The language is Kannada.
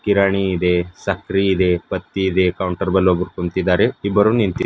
ಕಿರಾಣಿ ಇದೆ ಸಕ್ರಿ ಇದೆ ಪತ್ತಿ ಇದೆ ಕೌಂಟರ್ ಬಲ ಒಬ್ರು ಕುಂತಿದಾರೆ ಇಬ್ರೂ ನಿಂತಿದ್ದಾರೆ.